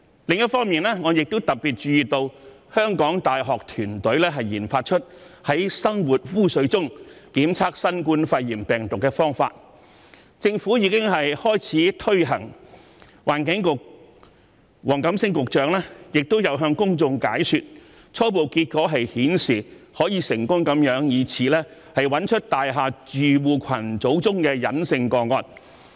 另一方面，我亦特別注意到香港大學團隊研發出在生活污水中檢測新冠肺炎病毒的方法，政府已經開始推行有關計劃，環境局局長黃錦星亦有向公眾解說，初步結果顯示此方法可以成功找出大廈住戶群組中的隱性個案。